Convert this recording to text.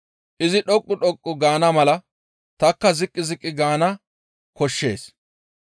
Izi dhoqqu dhoqqu gaana mala tanikka ziqqi ziqqi gaana koshshees.